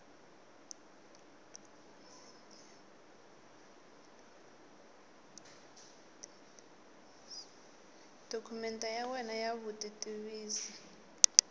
dokumende ya wena ya vutitivisi